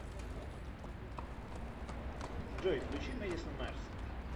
джой включи мэдисон мэрс